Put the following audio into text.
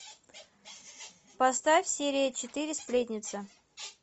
поставь серия четыре сплетница